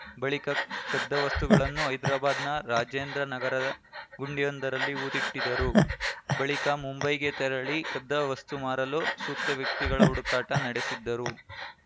ಬಳಿಕ ಕದ್ದ ವಸ್ತುಗಳನ್ನು ಹೈದ್ರಾಬಾದ್‌ನ ರಾಜೇಂದ್ರ ನಗರದ ಗುಂಡಿಯೊಂದರಲ್ಲಿ ಹೂತಿಟ್ಟಿದ್ದರು ಬಳಿಕ ಮುಂಬೈಗೆ ತೆರಳಿ ಕದ್ದ ವಸ್ತು ಮಾರಲು ಸೂಕ್ತ ವ್ಯಕ್ತಿಗಳ ಹುಡುಕಾಟ ನಡೆಸಿದ್ದರು